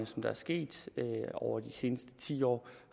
der er sket over de seneste ti år